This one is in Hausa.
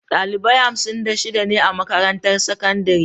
Dalibai hamsin da shida ne a makarantar sakandare.